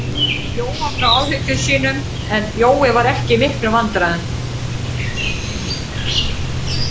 Jóa frá áhyggjum sínum, en Jói var ekki í miklum vandræðum.